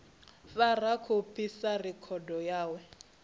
fara khophi sa rekhodo yawe